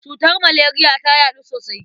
Cutar maleriya ta yaɗu sosai.